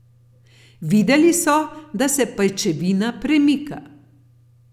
Videli so, da se pajčevina premika.